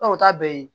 o t'a bɛɛ ye